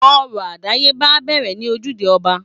Orò àdáyébá á bẹ̀rẹ̀ ní ojúde ọba